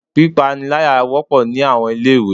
Pípániláyà wọ́pọ̀ ní àwọn ilé ìwé.